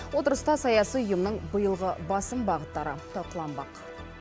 отырыста саяси ұйымның биылғы басым бағыттары талқыланбақ